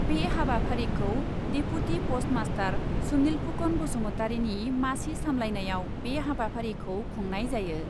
बे हाबाफारिखौ deputy post master Sunil Pukan बासुमतारिनि मासि सामलायनायाव बे हाबाफारिखौ खुंनाय जायो।